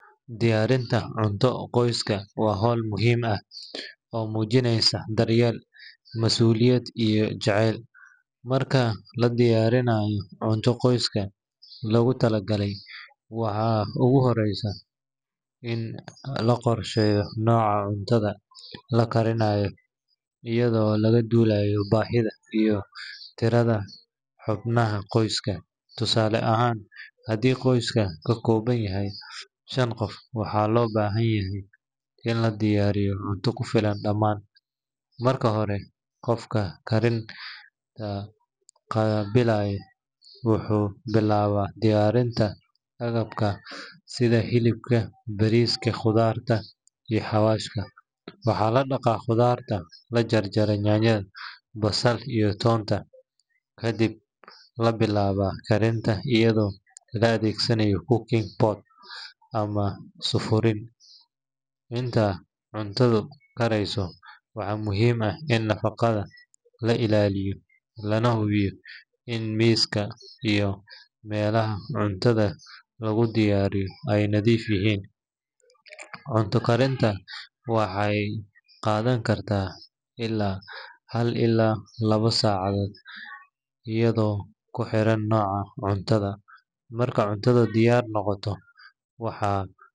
Diyaarinta cunto qoyska waa hawl muhiim ah oo muujinaysa daryeel, mas’uuliyad, iyo jacayl. Marka la diyaarinayo cunto qoyska loogu talagalay, waxaa ugu horreeya in la qorsheeyo nooca cuntada la karinayo, iyadoo laga duulayo baahida iyo tirada xubnaha qoyska. Tusaale ahaan, haddii qoyska ka kooban yahay shan qof, waxaa loo baahan yahay in la diyaariyo cunto ku filan dhammaan. Marka hore, qofka karinta qaabilsan wuxuu bilaabaa diyaarinta agabka sida hilibka, bariiska, khudaarta, iyo xawaashka. Waxaa la dhaqaa khudaarta, la jaraa yaanyada, basal iyo toonta, kadibna la bilaabaa karinta iyadoo la adeegsanayo cooking pot ama sufuriin. Inta cuntadu karayso, waxaa muhiim ah in nadaafadda la ilaaliyo, lana hubiyo in miiska iyo meelaha cuntada lagu diyaariyo ay nadiif yihiin. Cunto karintu waxay qaadan kartaa ilaa hal ilaa laba saacadood, iyadoo ku xiran nooca cuntada. Marka cunto diyaar noqoto, waxaa.